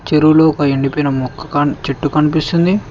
చెరువులో ఒక ఎండిపోయిన మొక్క ఖాన్ చెట్టు కనిపిస్తుంది.